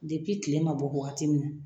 tile ma bɔ waati min